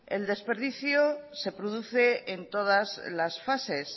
el desperdicio se produce en todas las fases